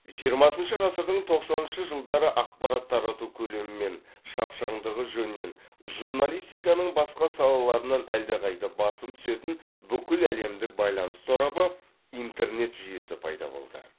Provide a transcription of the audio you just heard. жиырмасыншы ғасырдың тоқсаныншы жылдары ақпарат тарату көлемі мен шапшаңдығы жөнінен журналистиканың басқа салаларынан әлдеқайда басым түсетін бүкіләлемдік байланыс торабы интернет жүйесі пайда болды